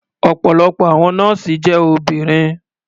Ọ̀pọ̀lọpọ̀ àwọn nọ́ọ̀sì jẹ́ obìnrin.